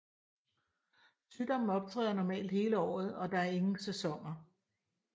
Sygdommen optræder normalt hele året og der er ingen sæsoner